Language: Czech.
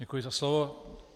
Děkuji za slovo.